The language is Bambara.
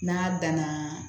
N'a dan na